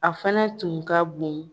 A fɛnɛ tun ka bon